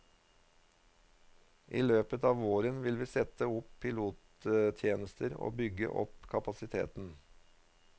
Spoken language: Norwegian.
I løpet av våren vil vi sette opp pilottjenester og bygge opp kapasiteten.